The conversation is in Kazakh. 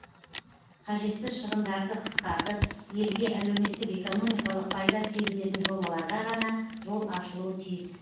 қажетсіз шығындарды қысқартып елге әлеуметтік экономикалық пайда тигізетін жобаларға ғана жол ашылуы тиіс